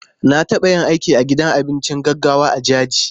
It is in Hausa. Na taɓa yin aiki a gidan abinci gaggawa a Jaji.